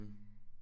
Mh